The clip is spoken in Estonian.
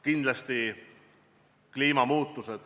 Kindlasti kliimamuutusi.